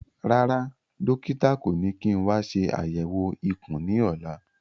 Rárá, dókítà kò ní kí n wa ṣe àyẹ̀wò ikùn ní ọ̀la